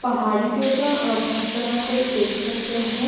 पहाड़ी जैसा अ फ़त्थरो को भी देख सकते हैं ।